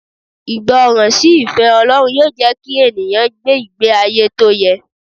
Ìgbọràn sí ìfẹ́ Ọlọ́run yóò jẹ́ kí ènìyàn gbé ìgbé ayé tó yẹ.